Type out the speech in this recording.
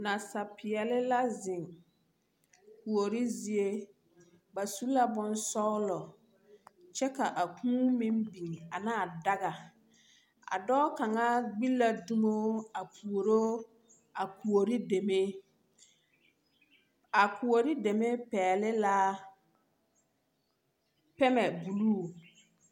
Nasaapeɛle la zeŋ kuori zie, ba su la bonsɔglɔ, kyɛ ka a kūū meŋ biŋ ana a daga. A dɔɔ kaŋa gbi dumo a puoro a kuori deme. A kuori deme pɛgle la pɛmɛ buluu.